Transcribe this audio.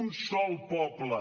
un sol poble